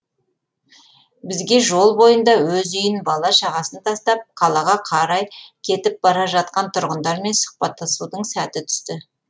бізге жол бойында өз үйін бала шағасын тастап қалаға қарай кетіп бара жатқан тұрғындармен сұхбаттасудың сәті түсті